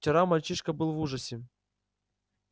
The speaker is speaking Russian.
вчера мальчишка был в ужасе